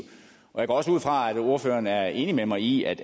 jeg går også ud fra at ordføreren er enig med mig i at